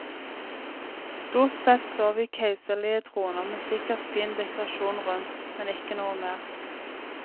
Stort sett så vi keiserlige troner med sikkert fin dekorasjon rundt, men ikke noe mer.